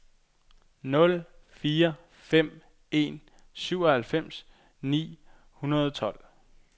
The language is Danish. nul fire fem en syvoghalvfems ni hundrede og tolv